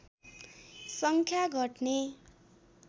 सङ्ख्या घट्ने